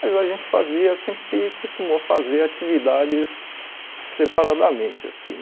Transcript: Mas a gente fazia, sempre costumou fazer atividades separadamente, assim.